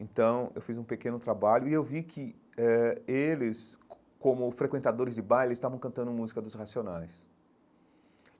Então, eu fiz um pequeno trabalho e eu vi que eh eles, co como frequentadores de baile, estavam cantando música dos Racionais.